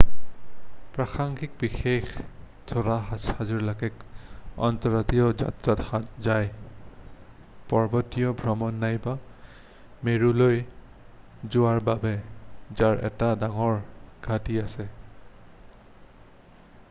প্ৰাসংগিক বিশেষ উৰাজাহাজবিলাক অন্তৰদেশীয় যাত্ৰাত যায় পৰ্বতীয়া ভ্ৰমণ নাইবা মেৰুলৈ যোৱাৰ বাবে যাৰ এটা ডাঙৰ ঘাঁটি আছে